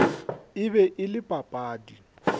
e be e le papadi